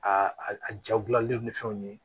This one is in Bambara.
A a ja gilanlen ni fɛnw ye